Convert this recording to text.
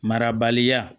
Marabaliya